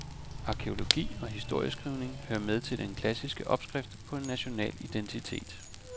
Arkæologi og historieskrivning hører med til den klassiske opskrift på en national identitet.